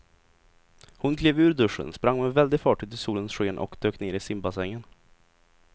Hon klev ur duschen, sprang med väldig fart ut i solens sken och dök ner i simbassängen.